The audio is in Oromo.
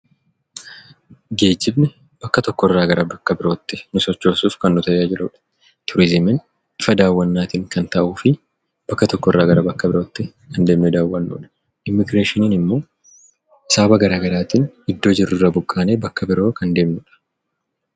Geejjibni bakka tokko irraa gara bakka birootti nu sochoosuuf kan nu tajaajilu dha. Turiizimiin bifa daawwannaa tiin kan taa'uu fi bakka tokko irraa gara bakka birootti kan deemnee daawwanu dha. Immigireeshiniin immoo sababa gara garaatiin iddoo jirru irraa buqqaanee bakka biroo kan deemnu dha.